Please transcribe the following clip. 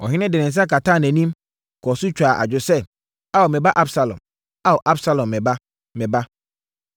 Ɔhene de ne nsa kataa nʼanim, kɔɔ so twaa adwo sɛ, “Ao, me ba Absalom! Ao, Absalom, me ba, me ba!”